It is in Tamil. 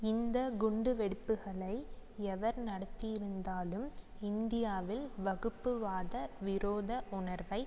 இந்த குண்டு வெடிப்புக்களை எவர் நடத்தியிருந்தாலும் இந்தியாவில் வகுப்புவாத விரோத உணர்வை